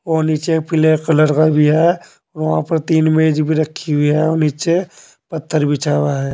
और नीचे पीले कलर का भी है वहां पर तीन मेज भी रखी हुई है नीचे पत्थर बिछा हुआ है।